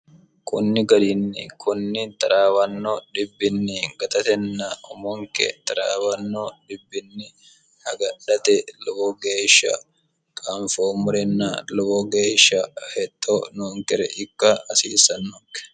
kunni garinni kunni xaraawanno dhibbinni gatatenna umonke taraawanno xibbinni agadhate lowo geeshsha anfoommorenna lowo geeshsha heto noonkere ikka hasiissannokke